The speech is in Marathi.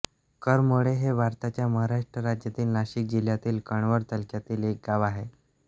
करमाळे हे भारताच्या महाराष्ट्र राज्यातील नाशिक जिल्ह्यातील कळवण तालुक्यातील एक गाव आहे